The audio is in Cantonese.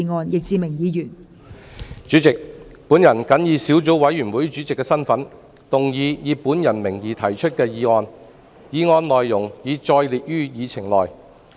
代理主席，我謹以小組委員會主席的身份，動議以我名義提出的議案，議案內容已載列於議程內。